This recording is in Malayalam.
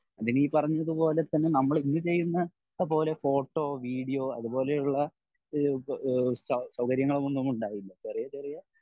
അതിനീ പറഞ്ഞതുപോലെതന്നെ നമ്മൾ ഇന്ന് ചെയ്യുന്ന പോലെ ഫോട്ടോ വീഡിയോ അതുപോലെയുള്ള ഇഹ് ഇഹ് സൗകര്യങ്ങൾ ഒന്നും ഉണ്ടാവില്ല. ചെറിയ ചെറിയ